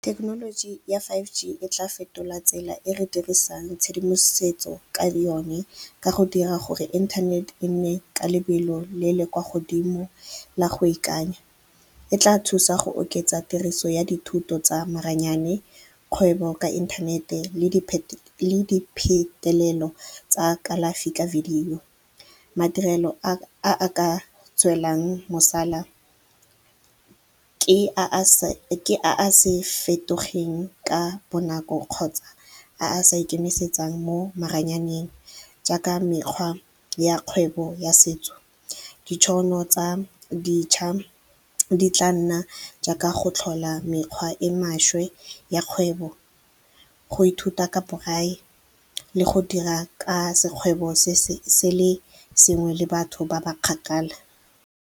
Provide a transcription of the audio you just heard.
Thekenoloji ya five G e tla fetola tsela e re dirisang tshedimosetso ka yone ka go dira gore inthanete e nne ka lebelo le le kwa godimo la go ikanya. E tla thusa go oketsa tiriso ya dithuto tsa maranyane, kgwebo ka inthanete le diphetelelo tsa kalafi ka video. Madirelo a ka tswelelang ke a a se fetogeng ka bonako kgotsa a sa ikemisetsang mo maranyaneng jaaka mekgwa ya kgwebo ya setso, ditšhono tsa dintšha di tla nna jaaka go tlhola mekgwa e maswe ya kgwebo, go ithuta ka borai le go dira ka sekgwebo se le sengwe le batho ba ba kgakala.